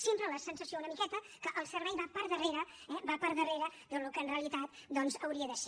sempre la sensació una miqueta que el servei va per darrere eh va per darrere del que en realitat doncs hauria de ser